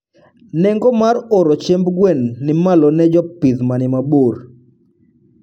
Nengo mar oro chiemb gwen ni malo ne jopih manimabor